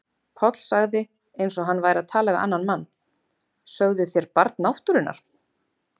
Páll sagði eins og hann væri að tala við annan mann: Sögðuð þér Barn náttúrunnar?